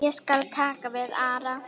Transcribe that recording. Ég skal taka við Ara.